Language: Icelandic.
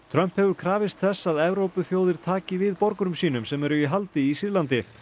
Trump hefur krafist þess að Evrópuþjóðir taki við borgurum sínum sem eru í haldi í Sýrlandi